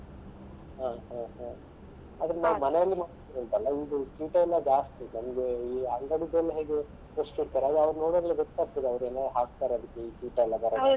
ಹ ಹ ಹ ಆದ್ರೆ ನಾವ್ ಮನೇಲಿ ಮಾಡುದುಂಟಲ್ಲ ಇದು ಕೀಟ ಎಲ್ಲ ಜಾಸ್ತಿ ನಮ್ಗೆ ಈ ಅಂಗಡಿದೆಲ್ಲ ಹೇಗೂ ಇಡ್ತಾರಲ ಅದು ನೋಡುವಾಗ್ಲೇ ಅವ್ರೇನೋ ಹಾಕ್ತಾರೆ ಅದಿಕ್ಕೆ ಕೀಟ ಎಲ್ಲ ಬರದ ಹಾಗೆ.